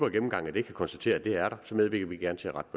gennemgang af den kan konstatere at det er der så medvirker vi gerne til at rette